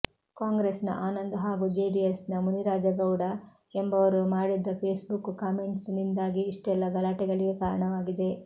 ಕಾಂಗ್ರೆಸ್ನ ಆನಂದ್ ಹಾಗೂ ಜೆಡಿಎಸ್ನ ಮುನಿರಾಜ್ಗೌಡ ಎಂಬುವರು ಮಾಡಿದ್ದ ಫೇಸ್ಬುಕ್ ಕಾಮೆಂಟ್ನಿಂದಾಗಿ ಇಷ್ಟೆಲ್ಲ ಗಲಾಟೆಗಳಿಗೆ ಕಾರಣವಾಗಿದೆ